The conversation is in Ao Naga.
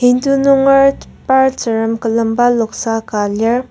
Hindu nunger par tsürem külemba noksa ka lir.